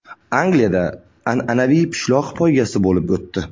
Angliyada an’anaviy pishloq poygasi bo‘lib o‘tdi.